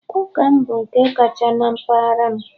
Ụka m bụ nke kacha na mpaghara m